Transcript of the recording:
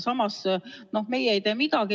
Samas meie ei tee midagi.